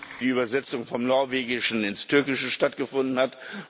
die Übersetzung vom Norwegischen ins Türkische stattgefunden hat.